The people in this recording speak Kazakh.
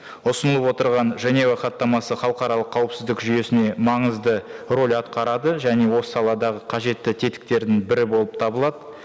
ұсынылып отырған женева хаттамасы халықаралық қауіпсіздік жүйесіне маңызды рөл атқарады және осы саладағы қажетті тетіктерінің бірі болып табылады